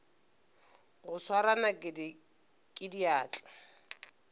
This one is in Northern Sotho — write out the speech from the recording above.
go swara nakedi ka diatla